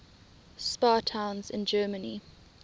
spa towns in germany